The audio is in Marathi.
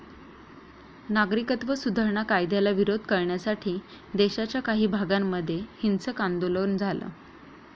नागरिकत्व सुधारणा कायद्याला विरोध करण्यासाठी देशाच्या काही भागांमध्ये हिंसक आंदोलन झालं.